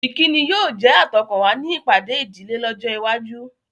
Ìkíni yóò jẹ́ àtọkànwá ní ìpàdé ìdílé lọ́jọ́ iwájú.